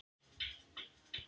Hann glotti í myrkrinu.